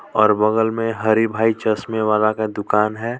और बगल में हरि भाई चश्मे वाला का दुकान है।